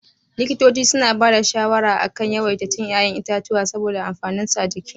Likitoci suna ba da shawara a kan a yawaita cin ya'yan itatuwa saboda amfaninsu a jiki.